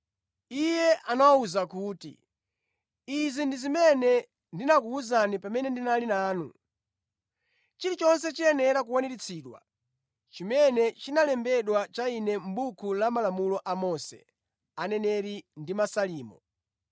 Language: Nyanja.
Iye anawawuza kuti, “Izi ndi zimene ndinakuwuzani pamene ndinali nanu: chilichonse chiyenera kukwaniritsidwa chimene chinalembedwa cha Ine mʼbuku la Malamulo a Mose, Aneneri ndi Masalimo.”